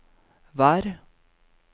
vær